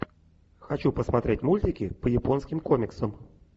хочу посмотреть мультики по японским комиксам